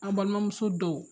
An balimamuso dɔw